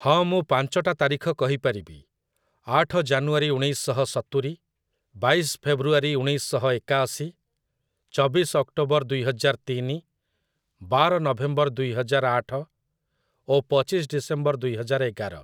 ହଁ ମୁଁ ପାଞ୍ଚଟା ତାରିଖ କହିପାରିବି । ଆଠ ଜାନୁଆରୀ ଉଣେଇଶ ଶହ ସତୁରି, ବାଇଶ ଫେବୃଆରୀ ଉଣେଇଶ ଶହ ଏକାଅଶୀ, ଚବିଶ ଅକ୍ଟୋବର ଦୁଇ ହଜାର ତିନି, ବାର ନଭେମ୍ବର ଦୁଇ ହଜାର ଆଠ ଓ ପଚିଶ ଡିସେମ୍ବର ଦୁଇ ହଜାର ଏଗାର ।